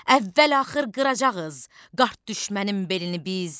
Əvvəl-axır qıracağıq qart düşmənim belini biz.